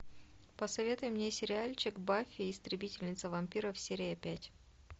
посоветуй мне сериальчик баффи истребительница вампиров серия пять